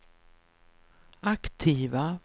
aktiva